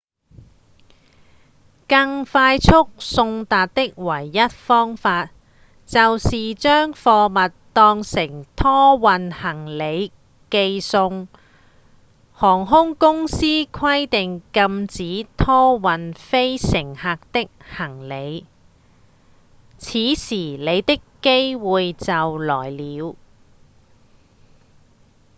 更快速送達的唯一方法就是將貨物當成拖運行李寄送航空公司規定禁止拖運非乘客的行李此時你的機會就來了